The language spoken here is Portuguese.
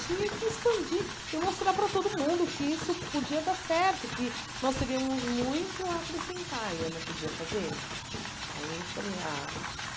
Tinha que expandir e mostrar para todo mundo que isso podia dar certo, que nós teríamos muito a acrescentar, e eu não podia fazer. Aí eu falei ah